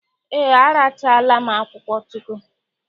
Ee, arachaala m akwuchụkwu.